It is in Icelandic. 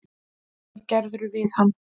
Hvað gerðirðu við hann!